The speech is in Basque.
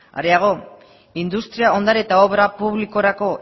areago industria ondare eta obra publikorako